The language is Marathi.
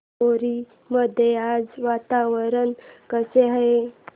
धामोरी मध्ये आज वातावरण कसे आहे